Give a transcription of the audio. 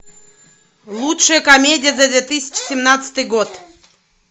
лучшая комедия за две тысячи семнадцатый год